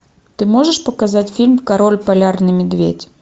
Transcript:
ты можешь показать фильм король полярный медведь